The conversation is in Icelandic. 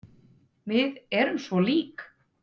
Við erum svo lík.